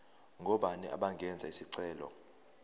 ngobani abangenza isicelo